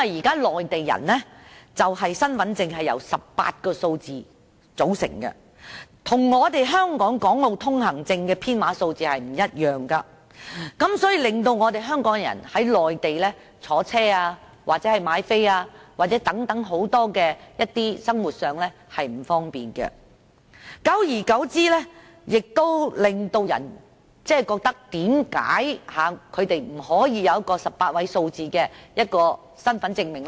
現時，內地人的身份證號碼由18位數字組成，與香港的《港澳居民來往內地通行證》的編碼不同，對香港人在內地乘搭交通工具或購票等多方面造成不便，久而久之令人們覺得為何他們不可以擁有一種18位數字的身份證明。